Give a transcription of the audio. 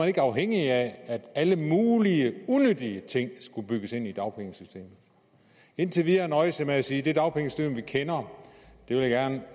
ikke afhængig af at alle mulige unyttige ting skulle bygges ind i dagpengesystemet indtil videre nøjes jeg med at sige det dagpengesystem vi kender vil jeg gerne